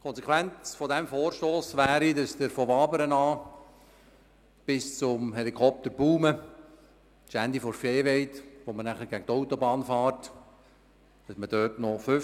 Die Konsequenz dieses Vorstosses wäre, dass man ab Wabern bis zum Helikopter-Baumann am Ende der Viehweide, wo man nachher zur Autobahn gelangt, nur 50 km/h fährt.